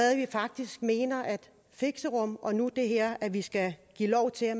at vi faktisk mener at fixerum og nu det her at vi skal give lov til at